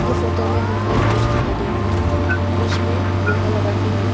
ये फोटो में हमको एक ब्रिज दिखाई दे रहे ब्रिज में लोहा लगाके हैं।